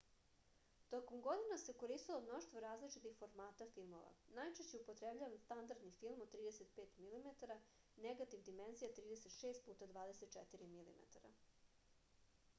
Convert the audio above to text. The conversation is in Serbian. током година се користило мноштво различитих формата филмова. најчешће је употребљаван стандардни филм од 35 mm негатив димензија 36×24 mm